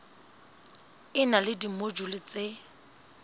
e na le dimojule tse